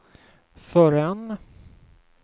förrän